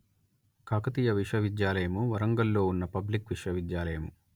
కాకతీయ విశ్వవిద్యాలయము వరంగల్ ‌లో ఉన్న పబ్లిక్ విశ్వవిద్యాలయము